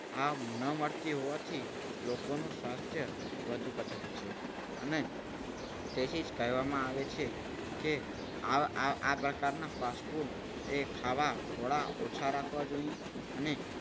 આ ન મળતી હોવાથી લોકોનું સ્વાસ્થ્ય વધુ લથડી છે. અને તેથી જ કહેવામાં આવે છે કે આ આ પ્રકારના fast food ખાવા એ ઓછા રાખવા જોઈએ. અને